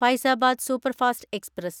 Faizabad superfast express